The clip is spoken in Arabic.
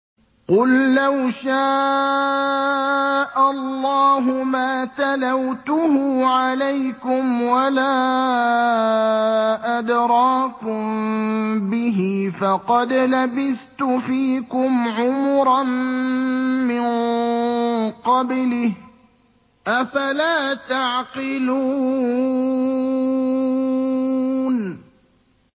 قُل لَّوْ شَاءَ اللَّهُ مَا تَلَوْتُهُ عَلَيْكُمْ وَلَا أَدْرَاكُم بِهِ ۖ فَقَدْ لَبِثْتُ فِيكُمْ عُمُرًا مِّن قَبْلِهِ ۚ أَفَلَا تَعْقِلُونَ